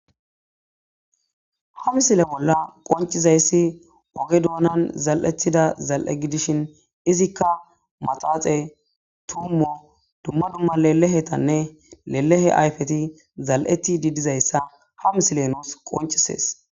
Ha misile bolla qoncizayssi oge doonan zal'etida zal' gidishin izikka maxaxe tummo dumma dumma lelehetanne lelehe ayfeti zal'eti didizayssa ha misile noos qoncisees.